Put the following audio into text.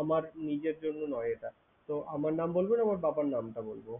আমার নিজের জন্য নয় এটা। তো আমার নাম বলবো না আমার বাবার নামটা বলবো?